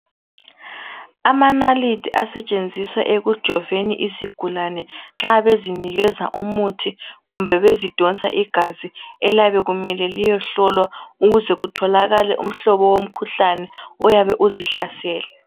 Amanalithi asetshenziswa ekujoveni izigulane nxa bezinikeza umuthi kumbe bezidonsa igazi iliyabe limele liyohlolwa ukuze kutholakale umhlobo womkhuhlane oyabe uzihlasele.